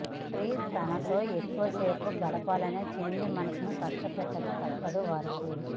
తండ్రి తనతో ఎక్కువసేపు గడపాలనే చిన్ని మనసును కష్టపెట్టక తప్పదు వారికి